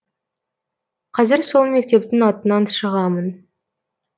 қазір сол мектептің атынан шығамын